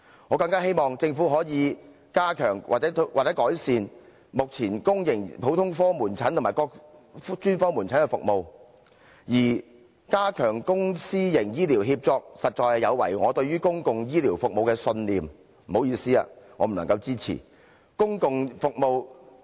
我更希望政府可以加強或改善目前公營普通科門診和各專科門診的服務，而加強公私營醫療協作，實在有違我對公共醫療服務的信念，所以，抱歉，我不能支持這一點。